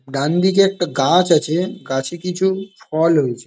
ডানদিকে একটা গাছ আছে গাছে কিছু ফল হয়েছে।